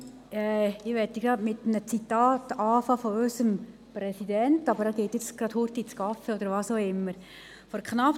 Ich möchte mit einem Zitat unseres Präsidenten beginnen, der aber gerade Kaffee trinken geht oder warum auch immer den Saal verlässt.